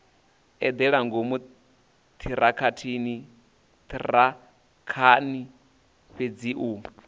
eḓela ngomu ṱhirakhani fhedzi u